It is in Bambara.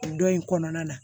O dɔ in kɔnɔna na